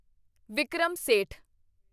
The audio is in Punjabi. ਵਿਕਰਮ ਸੇਠ